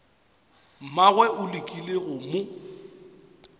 mmagwe o lekile go mo